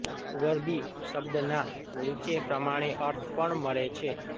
ગરબી શબ્દનાં નીચે પ્રમાણે અર્થ પણ મળે છે